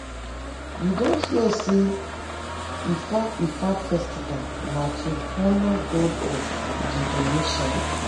you don hear sey ifa ifa festival na to honour god of divination?